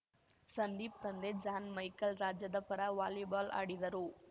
ಸಂದೀಪ್‌ ತಂದೆ John Michael ರಾಜ್ಯದ ಪರ ವಾಲಿಬಾಲ್‌ ಆಡಿದರು